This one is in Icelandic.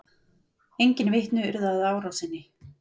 Enginn vitni urðu að árásinni